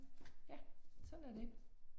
Ja, sådan er det